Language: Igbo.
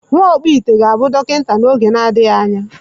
Nwa ọkpụite ga-abụ dọkịta n’oge na-adịghị anya